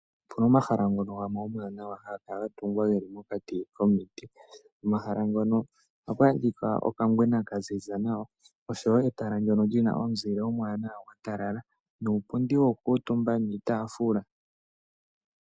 Opena omahala gamwe ngono omawanawa haga kala ga tungwa ge li mokati komiti. Omahala ngono oha ku adhika okangwena ka ziza nawa oshowo etala ndjono ndjina omuzile omwanawa gwatalala nuupundi wokukutumba niitafula.